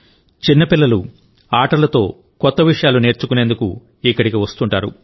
చిన్న పిల్లలు ఆటలతో కొత్త విషయాలు నేర్చుకునేందుకు ఇక్కడికి వస్తుంటారు